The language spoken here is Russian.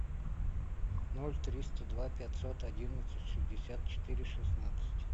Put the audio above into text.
ноль триста два пятьсот одиннадцать шестьдесят четыре шестнадцать